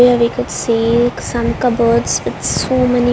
Here we could see some cupboards with so many --